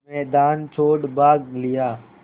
मैदान छोड़ भाग लिया